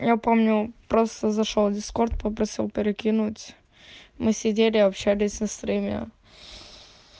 я помню просто зашёл дискорд попросил перекинуть мы сидели общались на стремя